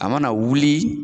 A mana wuli